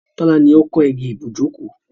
Tọ́lá ni ó kán igi ibùjókòó.